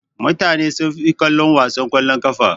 Mutane sunfi kallon wasan kwallon ƙafa.